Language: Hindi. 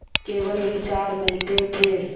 केवल विचार मिलते थे